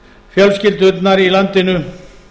fjölskyldurnar í landinu